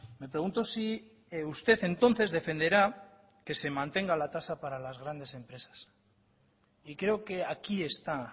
me pregunto si usted entonces defenderá que se mantenga la tasa para las grandes empresas y creo que aquí está